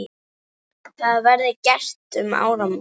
Það verði gert um áramót.